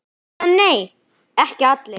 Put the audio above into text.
Eða nei, ekki allir!